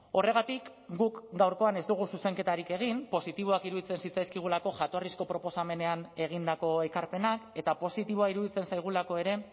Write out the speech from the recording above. horregatik guk gaurkoan ez dugu zuzenketarik egin positiboak iruditzen zitzaizkigulako jatorrizko proposamenean egindako ekarpenak eta positiboa iruditzen zaigulako ere